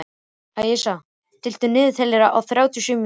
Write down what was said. Æsa, stilltu niðurteljara á þrjátíu og sjö mínútur.